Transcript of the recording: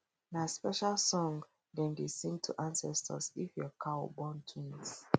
nah special song dem dey sing to ancestors if your cow born twins